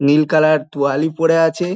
New colour তোয়ালি পরে আছে।